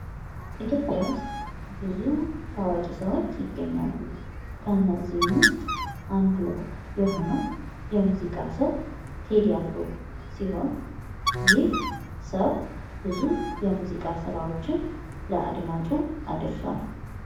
ኢትዮጵያ ውስጥ ብዙ ታዋቂ ሰዎች ይገኛሉ ከነዚህም ውስጥ አንዱ የሆነው የሙዚቃ ሰው ቴዲ አፍሮ ሲሆን ይህ ሰው ብዙ የሙዚቃ ስራዎችን ለአድማጩ አድርሷል።